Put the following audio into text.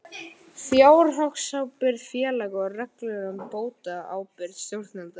Fjárhagsábyrgð félaga og reglur um bótaábyrgð stjórnenda þeirra.